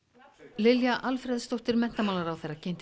Lilja Alfreðsdóttir menntamálaráðherra kynnti